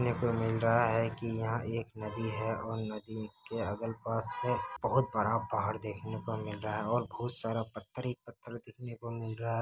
देखने पर मिल रहा है की यहां एक नदी है और नदी के अगल पास में बहुत पहाड़ देखने को मिल रहा है। बहुत सारा पत्थर ही पत्थर देखने को मिल रहा है।